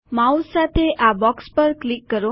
mouse સાથે આ box પર ક્લિક કરો